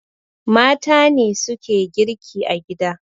Mata ne suke girki a gida